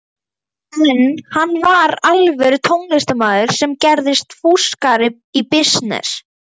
En hann var alvöru tónlistarmaður sem gerðist fúskari í bisness.